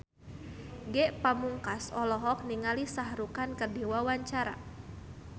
Ge Pamungkas olohok ningali Shah Rukh Khan keur diwawancara